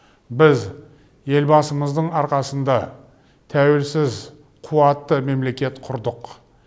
біз елбасымыздың арқасында тәуелсіз қуатты мемлекет құрдық